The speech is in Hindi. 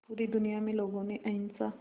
पूरी दुनिया में लोगों ने अहिंसा